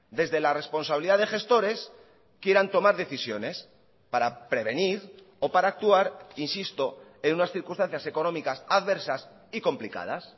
desde la responsabilidad de gestores quieran tomar decisiones para prevenir o para actuar insisto en unas circunstancias económicas adversas y complicadas